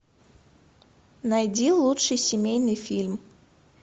найди лучший семейный фильм